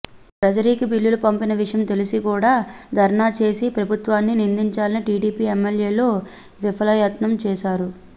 ట్రెజరీకి బిల్లులు పంపిన విషయం తెలిసి కూడా ధర్నా చేసి ప్రభుత్వాన్ని నిందించాలని టీడీపీ ఎమ్మెల్యేలు విఫలయత్నం చేశారు